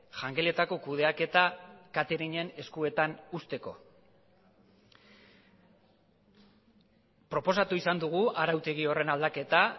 jangeletako kudeaketa cateringen eskuetan uzteko proposatu izan dugu arautegi horren aldaketa